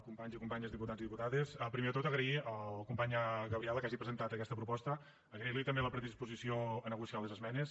companys i companyes diputats i diputades el primer de tot agrair a la companya gabriela que hagi presentat aquesta proposta agrairli també la predisposició a negociar les esmenes